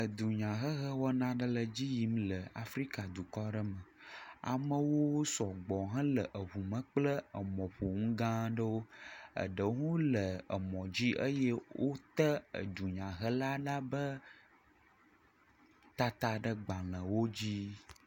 Dunyahehe wɔna aɖe le edzi yim le Afrika dukɔ aɖe me. Amewo wosɔgbɔ hele eŋu me kple emɔƒonu gã aɖewo. Eɖewo hã le emɔ di eye wote edunyahela la be tata ɖe agabelewo dzi.